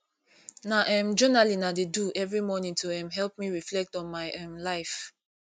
na um journaling i dey do every morning to um help me reflect on my um life